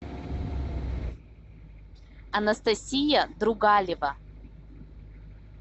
анастасия другалева